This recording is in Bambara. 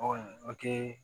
Ɔ o te